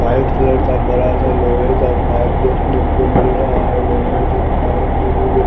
white colour का बड़ा सा लोहे का पाइप देखने को मिल रहा है लोहे से पाइप मे मुझे--